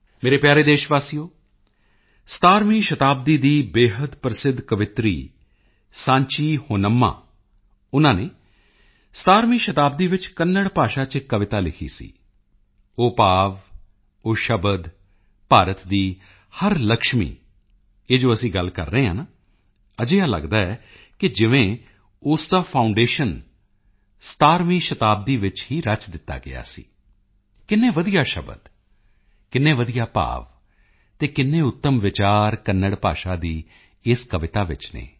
ਮੇਰੇ ਪਿਆਰੇ ਦੇਸ਼ਵਾਸੀਓ 17ਵੀਂ ਸ਼ਤਾਬਦੀ ਦੀ ਬੇਹੱਦ ਪ੍ਰਸਿੱਧ ਕਵਿਤਰੀ ਸਾਂਚੀ ਹੋਨੰਮਾ ਸਾਂਚੀ ਹੋਨੰਮਾ ਉਨ੍ਹਾਂ ਨੇ 17ਵੀਂ ਸ਼ਤਾਬਦੀ ਵਿੱਚ ਕੰਨੜ ਭਾਸ਼ਾ ਚ ਇੱਕ ਕਵਿਤਾ ਲਿਖੀ ਸੀ ਉਹ ਭਾਵ ਉਹ ਸ਼ਬਦ ਭਾਰਤ ਦੀ ਹਰ ਲਕਸ਼ਮੀ ਇਹ ਜੋ ਅਸੀਂ ਗੱਲ ਕਰ ਰਹੇ ਹਾਂ ਨਾ ਅਜਿਹਾ ਲਗਦਾ ਹੈ ਜਿਵੇਂ ਕਿ ਉਸ ਦਾ ਫਾਊਂਡੇਸ਼ਨ 17ਵੀਂ ਸ਼ਤਾਬਦੀ ਵਿੱਚ ਹੀ ਰਚ ਦਿੱਤਾ ਗਿਆ ਸੀ ਕਿੰਨੇ ਵਧੀਆ ਸ਼ਬਦ ਕਿੰਨੇ ਵਧੀਆ ਭਾਵ ਅਤੇ ਕਿੰਨੇ ਉੱਤਮ ਵਿਚਾਰ ਕੰਨੜ ਭਾਸ਼ਾ ਦੀ ਇਸ ਕਵਿਤਾ ਵਿੱਚ ਹਨ